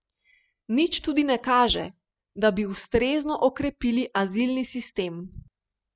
Nič tudi ne kaže, da bi ustrezno okrepili azilni sistem.